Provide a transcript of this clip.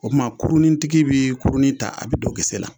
O tuma kurunin tigi bɛ kurun ta a bɛ don gese la.